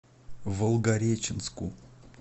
волгореченску